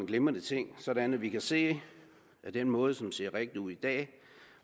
glimrende ting sådan at vi kan se at den måde som ser rigtig ud i dag